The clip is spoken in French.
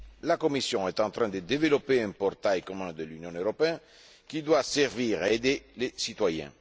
La Commission est en train de développer un portail commun de l'Union européenne qui doit servir à aider les citoyens.